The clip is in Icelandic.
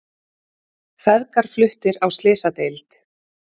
Feðgar fluttir á slysadeild